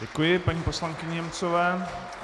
Děkuji paní poslankyni Němcové.